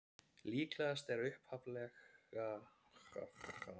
Líklegast er að upphaflega hafi verið átt við árekstur skipa, ef til vill í hernaði.